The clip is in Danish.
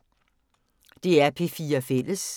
DR P4 Fælles